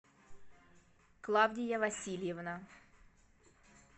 клавдия васильевна